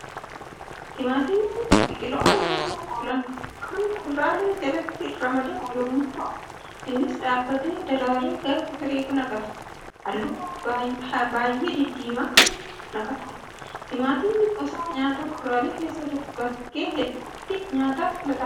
Timaatimni biqiloota nyaataaf oolan, kan kuduraalee jalatti ramadamu yemmuu ta'u, innis dhaabbatee, daraaree gaafa firii naqatu, halluu baayyee diddiimaa kan naqatudha. Timaatimni gosa nyaata kuduraalee keessaa bakkee hedduutti nyaataaf filatamaadha.